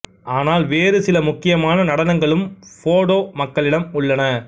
ஆனால் வேறு சில முக்கியமான நடனங்களும் போடோ மக்களிடம் உள்ளன